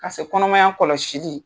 Ka se kɔnɔmaya kɔlɔsili